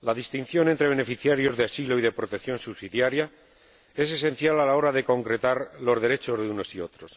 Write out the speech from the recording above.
La distinción entre beneficiarios de asilo y de protección subsidiaria es esencial a la hora de concretar los derechos de unos y otros.